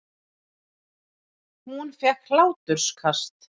Hún fékk hláturkast.